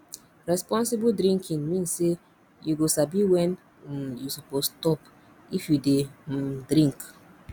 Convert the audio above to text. responsible drinking mean say you go sabi when um you suppose stop if you dey um drink